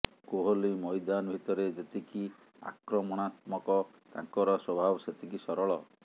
କୋହଲି ମଇଦାନ ଭିତରେ ଯେତିକି ଆକ୍ରମଣାତ୍ମକ ତାଙ୍କର ସ୍ୱଭାବ ସେତିକି ସରଳ